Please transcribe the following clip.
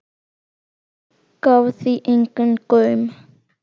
Gaf því engan gaum.